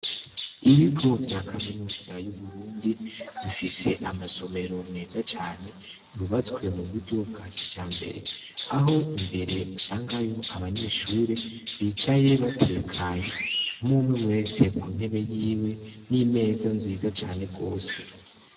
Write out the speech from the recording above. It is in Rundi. Ibigo vya kaminuza y'Uburundi bifise amasomero meza cane yubatswe m'uburyo bwakijambere. Aho imbere usangayo abanyeshure bicaye batekanye umwumwe wese kuntebe yiwe n'imeza nziza cane gose.